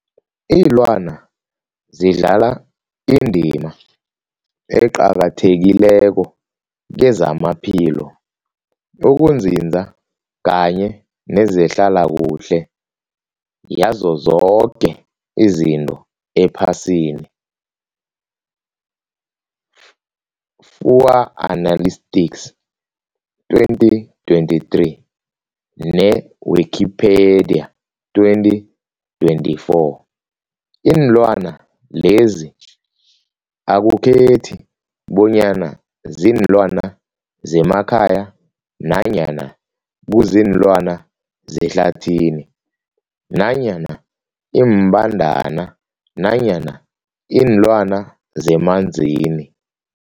Ilwana zidlala indima eqakathekileko kezamaphilo, ukunzinza kanye nezehlala kuhle yazo zoke izinto ephasini Fuanalytics 2023, ne-Wikipedia 2024. Iinlwana lezi akukhethi bonyana ziinlwana zemakhaya nanyana kuziinlwana zehlathini nanyana iimbandana nanyana iinlwana zemanzini.